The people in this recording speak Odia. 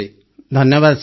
ପ୍ରେମ୍ ଜୀ ଧନ୍ୟବାଦ ସାର୍